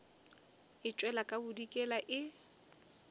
e tšwela ka bodikela e